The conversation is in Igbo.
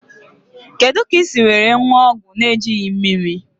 Kedụ kà ị ga esi were ṅụọ ọgwụ n'ejighi mmírí?